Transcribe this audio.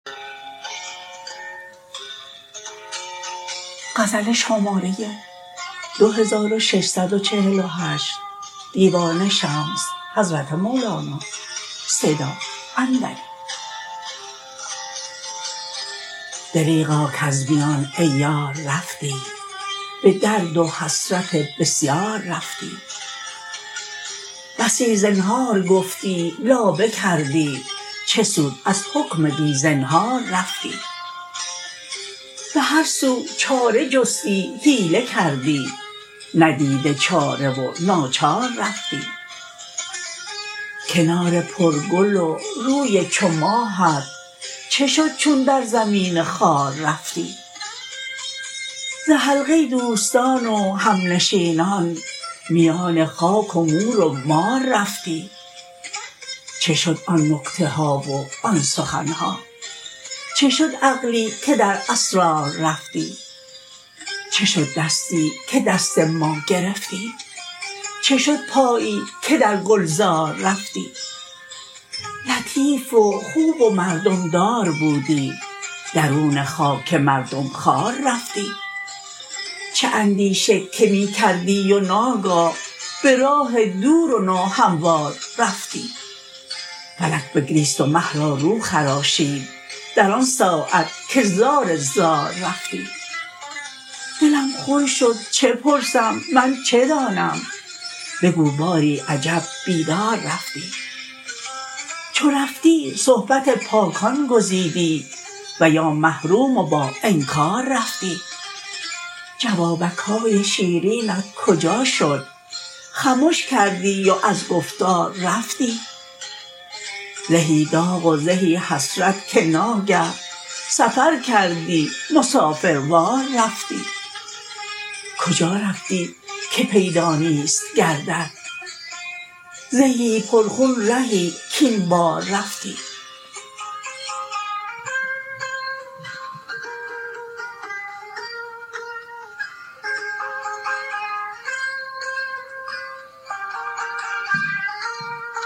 دریغا کز میان ای یار رفتی به درد و حسرت بسیار رفتی بسی زنهار گفتی لابه کردی چه سود از حکم بی زنهار رفتی به هر سو چاره جستی حیله کردی ندیده چاره و ناچار رفتی کنار پرگل و روی چو ماهت چه شد چون در زمین خوار رفتی ز حلقه دوستان و همنشینان میان خاک و مور و مار رفتی چه شد آن نکته ها و آن سخن ها چه شد عقلی که در اسرار رفتی چه شد دستی که دست ما گرفتی چه شد پایی که در گلزار رفتی لطیف و خوب و مردم دار بودی درون خاک مردم خوار رفتی چه اندیشه که می کردی و ناگاه به راه دور و ناهموار رفتی فلک بگریست و مه را رو خراشید در آن ساعت که زار زار رفتی دلم خون شد چه پرسم من چه دانم بگو باری عجب بیدار رفتی چو رفتی صحبت پاکان گزیدی و یا محروم و باانکار رفتی جوابک های شیرینت کجا شد خمش کردی و از گفتار رفتی زهی داغ و زهی حسرت که ناگه سفر کردی مسافروار رفتی کجا رفتی که پیدا نیست گردت زهی پرخون رهی کاین بار رفتی